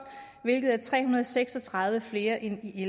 hvilket er tre hundrede og seks og tredive flere end i